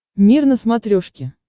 мир на смотрешке